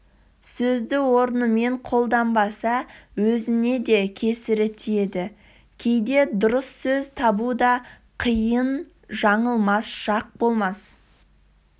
сөзді орынымен қолданбаса өзіне де кесірі тиеді кейде дұрыс сөз табу да қиын жаңылмас жақ болмас